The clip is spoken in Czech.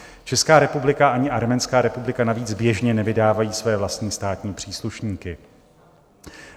Česká republika ani Arménská republika navíc běžně nevydávají své vlastní státní příslušníky.